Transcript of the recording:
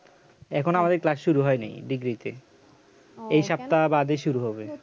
এখনো আমাদের class শুরু হয়নি degree তে এই সপ্তাহ বাদে শুরু হবে